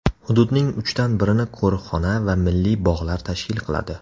Hududning uchdan birini qo‘riqxona va milliy bog‘lar tashkil qiladi.